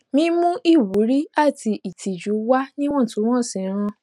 mímú ìwúrí àti ìtìjú wà níwọntúnwọnsì ń ràn